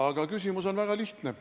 Aga küsimus on väga lihtne.